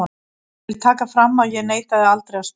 En ég vil taka fram að ég neitaði aldrei að spila.